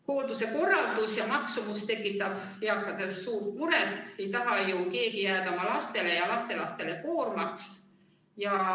Hoolduse korraldus ja maksumus tekitab eakates suurt muret, ei taha ju keegi jääda oma lastele ja lastelastele koormaks.